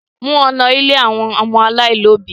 Mú wọn lọ̀ ilé àwọn ọmọ aláìní òbí!